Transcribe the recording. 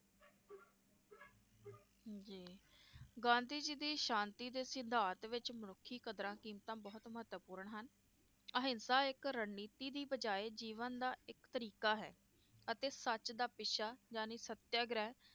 ਜੀ ਗਾਂਧੀ ਜੀ ਦੀ ਸ਼ਾਂਤੀ ਦੇ ਸਿਧਾਂਤ ਵਿਚ ਮਨੁੱਖੀ ਕਦਰਾਂ-ਕੀਮਤਾਂ ਬਹੁਤ ਮਹੱਤਵਪੂਰਨ ਹਨ, ਅਹਿੰਸਾ ਇਕ ਰਨਨੀਤੀ ਦੀ ਬਜਾਏ ਜੀਵਨ ਦਾ ਇਕ ਤਰੀਕਾ ਹੈ ਅਤੇ ਸੱਚ ਦਾ ਪਿੱਛਾ ਯਾਨੀ ਸਤਿਆਗ੍ਰਹਿ,